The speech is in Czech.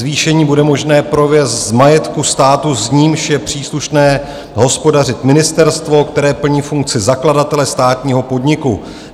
Zvýšení bude možné provést z majetku státu, s nímž je příslušné hospodařit ministerstvo, které plní funkci zakladatele státního podniku.